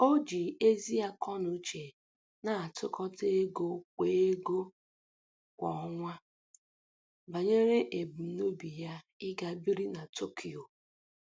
O ji ezi akọnuche na-atụkọta ego kwa ego kwa ọnwa banyere ebumnobi ya ịga biri na Tokyo